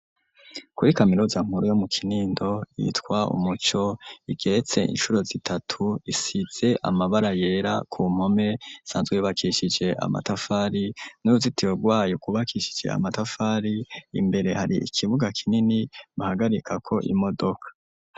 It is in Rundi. Kuri kaminuza nkuru yo mu Kinindo yitwa Umuco igeretse incuro zitatu isize amabara yera ku mpome isanzwe yubakishije amatafari n'uruzitiro rwayo rwubakishije amatafari imbere hari ikibuga kinini bahagarikako imodoka.